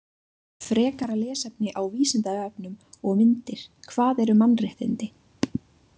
Frekara lesefni á Vísindavefnum og myndir Hvað eru mannréttindi?